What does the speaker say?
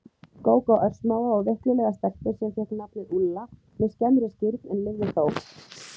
Gógó örsmáa og veiklulega stelpu sem fékk nafnið Úlla með skemmri skírn, en lifði þó.